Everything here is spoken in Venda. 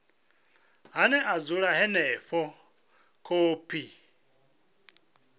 ane a dzula henefho khophi